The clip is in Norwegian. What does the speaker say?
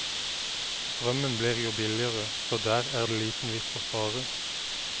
Strømmen blir jo billigere, så der er det liten vits å spare.